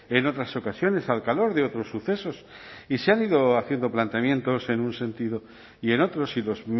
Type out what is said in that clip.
en otras ocasiones al calor de otros sucesos y se han ido haciendo planteamientos en un sentido y en otro si los